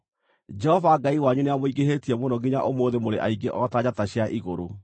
Jehova Ngai wanyu nĩamũingĩhĩtie mũno nginya ũmũthĩ mũrĩ aingĩ o ta njata cia igũrũ.